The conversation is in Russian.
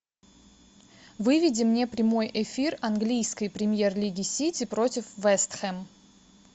выведи мне прямой эфир английской премьер лиги сити против вест хэм